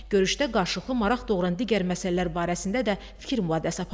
Görüşdə qarşılıqlı maraq doğuran digər məsələlər barəsində də fikir mübadiləsi aparıldı.